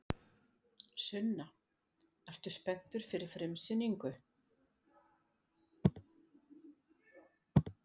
Sunna: Ertu spenntur fyrir frumsýningu?